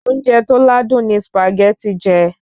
Oúnjẹ tó ládùn ni jé